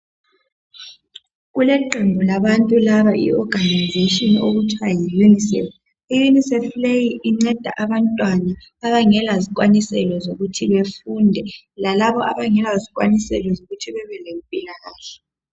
Kuleqembu labantu laba iorganization okuthiwa yi UNICEF. Iunicef leyi inceda abantwana abangela zikwaniselo zokuthi befunde, lalabo abangela zikwaniselo zokuthi bebelempilakahle.